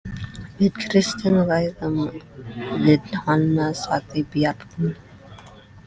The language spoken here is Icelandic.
Við Kristín ræðum við hana, sagði Bjarni.